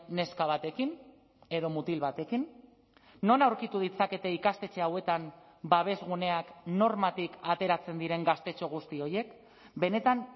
neska batekin edo mutil batekin non aurkitu ditzakete ikastetxe hauetan babes guneak normatik ateratzen diren gaztetxo guzti horiek benetan